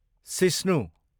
सिस्नु